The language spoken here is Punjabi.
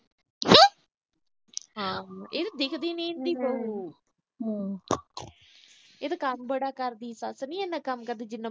ਇਹ ਤਾਂ ਦਿਖਦੀ ਨੀ ਇਹ ਤਾਂ ਕੰਮ ਬੜਾ ਕਰਦੀ ਆ ਇੰਨਾ ਤਾਂ ਸੱਸ ਨੀ ਕਰਦੀ।